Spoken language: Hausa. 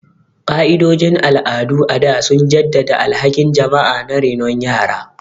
Ka'idojin al'adu a da sun jaddada alhakin jama'a na renon yara.